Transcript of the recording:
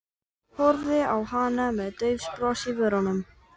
Horfði á hana með dauft bros á vörunum.